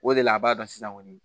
O de la a b'a dɔn sisan kɔni